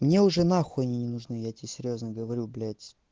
мне уже нахуй они не нужны я тебе серьёзно говорю блять